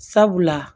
Sabula